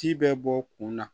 Ci bɛ bɔ kun na